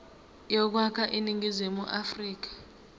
yokwakha iningizimu afrika